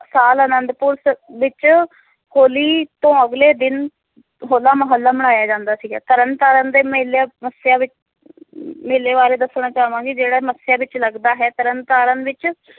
ਸਾਲ ਅਨੰਦਪੁਰ ਸ~ ਵਿਚ ਹੋਲੀ ਤੋਂ ਅਗਲੇ ਦਿਨ ਹੋਲਾ ਮੋਹੱਲਾ ਮਨਾਇਆ ਜਾਂਦਾ ਸੀਗਾ ਤਰਨਤਾਰਨ ਦੇ ਮੇਲੇ ਮੱਸਿਆ ਵਿਚ ਮੇਲੇ ਬਾਰੇ ਦੱਸਣਾ ਚਾਵਾਂਗੀ ਜਿਹੜਾ ਮੱਸਿਆ ਵਿਚ ਲੱਗਦਾ ਹੈ ਤਰਨਤਾਰਨ ਵਿਚ